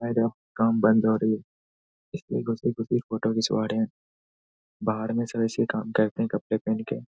काम बंद हो रही है। फोटो खिचवा रहे हैं। बाहर मे सब ऐसे ही काम करते हैं कपड़े पेहेन के।